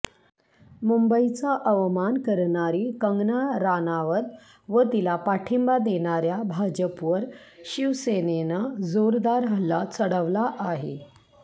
मुंबईचा अवमान करणारी कंगना राणावत व तिला पाठिंबा देणाऱ्या भाजपवर शिवसेनेनं जोरदार हल्ला चढवला आहे